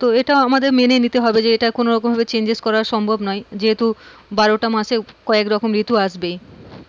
তো এইটা আমাদের মেনে নিতে হবে যে এইটা কোনো রকম ভাবে changes করা সম্ভব নোই যেহুতু বারোটা মাসে যিখন রিতু আসবে